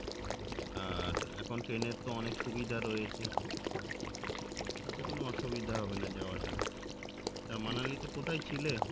আর এখন train এর তো অনেক সুবিধা রয়েছে তাতে কোনো অসুবিধা হবেনা যাওয়াটা তা মানালি তে কোথায় ছিলে